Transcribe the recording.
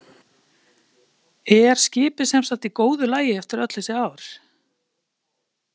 Kristján Már Unnarsson: Er skipið semsagt í góðu lagi eftir öll þessi ár?